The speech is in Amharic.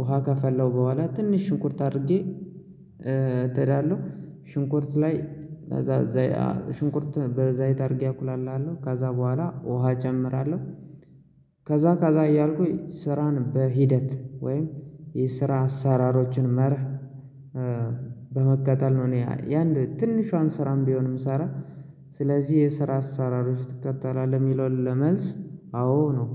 ውሃ ካፈላሁ በኋላ ትንሽ ሽንኩርት አድርጌ ሽንኩርት ላይ ሽንኩርትን በዘይት አድርጌ አቁላላለሁ ከዛ በኋላ ውሃ እጨምራለሁ። ከዛ ከዛ እያልኩኝ ስራን በሂደት ወይም የስራ አሳራሮችን መርህ በመከተል ነው እኔ ያን ትንሿን ስራም ቢሆን የምሰራ። ስለዚህ የስራ አሰራሮች ትከተላለህ የሚለውን ለመልስ አዎ ነው